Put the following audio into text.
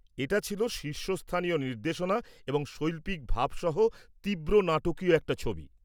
এটা ছিল শীর্ষস্থানীয় নির্দেশনা এবং শৈল্পিক ভাব সহ তীব্র নাটকীয় একটা ছবি।